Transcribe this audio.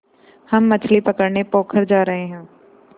हम मछली पकड़ने पोखर जा रहें हैं